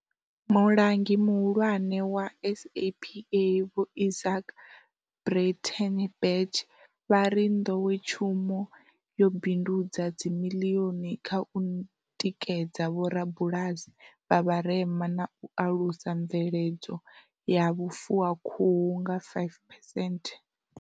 Mulangi Muhulwane wa SAPA Vho Izaak Breitenbach vha ri nḓowetshumo yo bindudza dzimiḽioni kha u tikedza vho rabulasi vha vha rema na u alusa mveledzo ya vhufuwakhuhu nga five phesenthe.